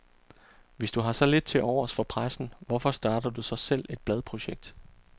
Hvis du har så lidt til overs for pressen, hvorfor starter du så selv et bladprojekt?